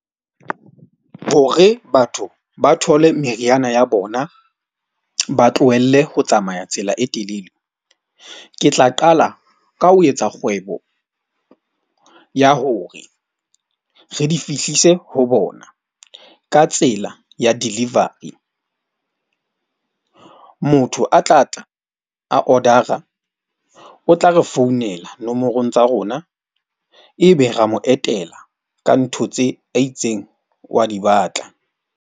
Hore batho ba thole meriana ya bona, ba tlohelle ho tsamaya tsela e telele. Ke tla qala ka ho etsa kgwebo ya hore re di fihlise ho bona ka tsela ya delivery. Motho a tlatla a order-a o tla re founela nomorong tsa rona, ebe ra mo etela ka ntho tse a itseng wa di batla.